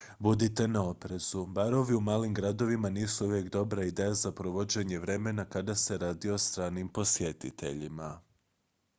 budite na oprezu barovi u malim gradovima nisu uvijek dobra ideja za provođenje vremena kada se radi o stranim posjetiteljima